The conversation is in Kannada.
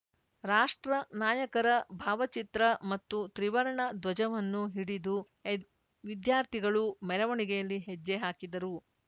ರಾಷ್ಟ್ರ ನಾಯಕರ ಭಾವಚಿತ್ರ ಮತ್ತು ತ್ರಿವರ್ಣ ಧ್ವಜವನ್ನು ಹಿಡಿದು ಎದ್ ವಿದ್ಯಾರ್ಥಿಗಳು ಮೆರವಣಿಗೆಯಲ್ಲಿ ಹೆಜ್ಜೆ ಹಾಕಿದರು